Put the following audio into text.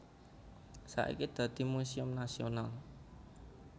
Saiki dadi muséum nasional